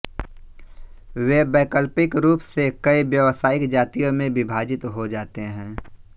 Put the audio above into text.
वे वैकल्पिक रूप से कई व्यावसायिक जातियों में विभाजित हो जाते हैं